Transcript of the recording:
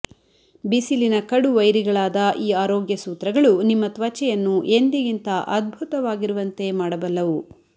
ಬಿಸಿಲಿನ ಕಡು ವೈರಿಗಳಾದ ಈ ಆರೋಗ್ಯ ಸೂತ್ರಗಳು ನಿಮ್ಮ ತ್ವಚೆಯನ್ನು ಎಂದಿಗಿಂತ ಅದ್ಭುತವಾಗಿರುವಂತೆ ಮಾಡಬಲ್ಲವು